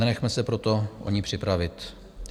Nenechme se proto o ni připravit.